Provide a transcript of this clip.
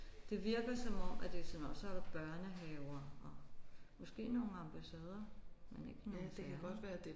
Det virker som om at det er sådan noget og så er der børnehaver og måske nogle ambassader men ikke nogen der